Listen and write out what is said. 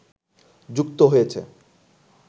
যুক্ত হয়েছে